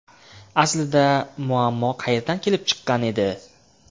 Aslida, muammo qayerdan kelib chiqqan edi?